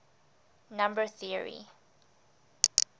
number theory